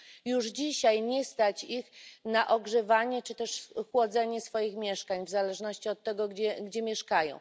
Już dzisiaj nie stać ich na ogrzewanie czy też chłodzenie swoich mieszkań w zależności od tego, gdzie mieszkają.